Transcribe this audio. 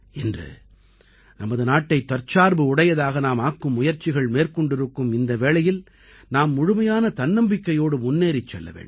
இன்று நமது நாட்டைத் தற்சார்பு உடையதாக நாம் ஆக்கும் முயற்சிகள் மேற்கொண்டிருக்கும் இந்த வேளையில் நாம் முழுமையான தன்னம்பிக்கையோடு முன்னேறிச் செல்ல வேண்டும்